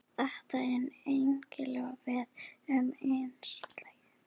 Þetta á einnig við um einstaklinginn sjálfan.